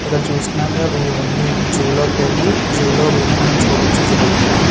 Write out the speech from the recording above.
ఇక్కడ చూస్తాము కదా ఇవి అన్ని జూ లో వెళ్లి జూ లో చూడవచ్చు గిరాఫ్ఫ్ నీ .